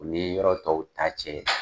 U ni yɔrɔ tɔw ta cɛ